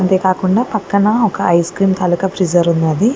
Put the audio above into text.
అంతేకాకుండా పక్కన ice cream తాలూకా ఫ్రిజ్ ఉన్నది.